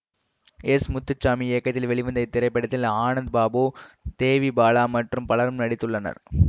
S Muthusamy இயக்கத்தில் வெளிவந்த இத்திரைப்படத்தில் ஆனந்த் பாபு தேவி பாலா மற்றும் பலரும் நடித்துள்ளனர்